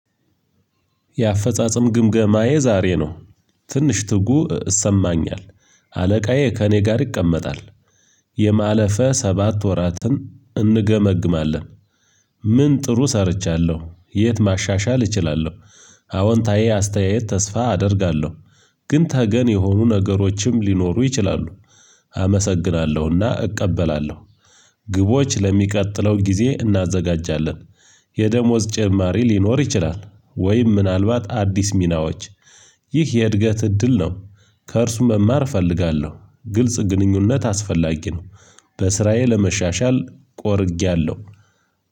የአፈጻጸም ግምገማዬ ዛሬ ነው። ትንሽ ትጉ እሰማኛል። አለቃዬ ከእኔ ጋር ይቀመጣል። የማለፈ ሰባት ወራትን እንገመግማለን። ምን ጥሩ ሰርቻለሁ የት ማሻሻል እችላለሁ? አዎንታዊ አስተያየት ተስፋ አደርጋለሁ። ግን ተገን የሆኑ ነገሮችም ሊኖሩ ይችላሉ። አመሰግናለሁና እቀበላለሁ። ግቦች ለሚቀጥለው ጊዜ እናዘጋጃለን። የደሞዝ ጭማሪ ሊኖር ይችላል። ወይም ምናልባት አዲስ ሚናዎች። ይህ የእድገት እድል ነው። ከእርሱ መማር እፈልጋለሁ ግልጽ ግንኙነት አስፈላጊ ነው። በስራየ ለመሻሻል ቆርጌያለሁ።